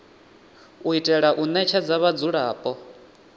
u itela u ṋetshedza vhadzulapo